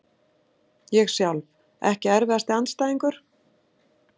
Ég sjálf Ekki erfiðasti andstæðingur?